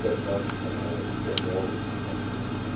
Qəsdən qəsdən olmayıb hadisə.